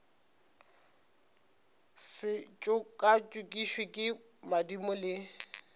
se tšokatšokišwe ke madimo le